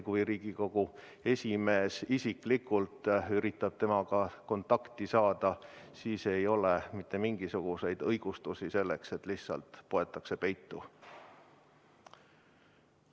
Kui Riigikogu esimees isiklikult üritab temaga kontakti saada, siis ei ole mitte mingisuguseid õigustusi selleks, et lihtsalt poetakse peitu.